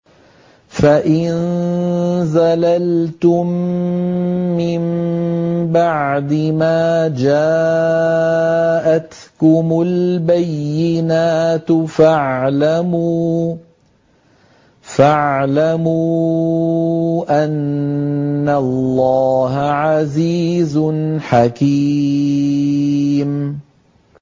فَإِن زَلَلْتُم مِّن بَعْدِ مَا جَاءَتْكُمُ الْبَيِّنَاتُ فَاعْلَمُوا أَنَّ اللَّهَ عَزِيزٌ حَكِيمٌ